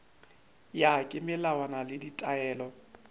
ya ka melawana le ditaelo